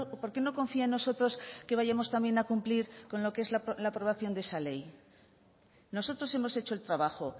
por qué no confía en nosotros que vayamos también a cumplir con lo que es la aprobación de esa ley nosotros hemos hecho el trabajo